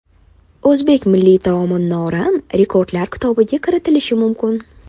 O‘zbek milliy taomi – norin rekordlar kitobiga kiritilishi mumkin.